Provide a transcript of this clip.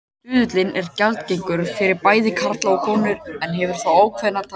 Stuðullinn er gjaldgengur fyrir bæði karla og konur en hefur þó ákveðnar takmarkanir.